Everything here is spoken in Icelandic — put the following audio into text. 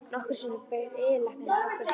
Nokkrum sinnum bauð yfirlæknirinn okkur heim.